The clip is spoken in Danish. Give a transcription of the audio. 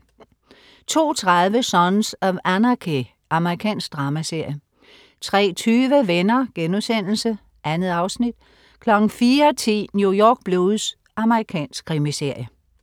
02.30 Sons of Anarchy. Amerikansk dramaserie 03.20 Venner.* 2 afsnit 04.10 New York Blues. Amerikansk krimiserie